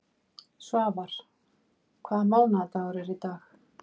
Svafar, hvaða mánaðardagur er í dag?